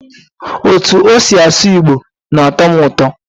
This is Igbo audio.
Otú o si asụ igbo na-atọ m ụtọ.